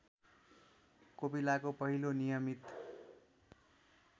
कोपिलाको पहिलो नियमित